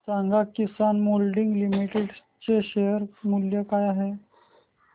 सांगा Kisan moulding limited चे share मूल्य काय आहे